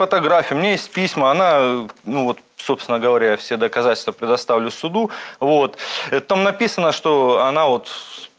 фотографии мне из письма она ну вот собственно говоря все доказательства предоставлю суду вот и там написано что она вот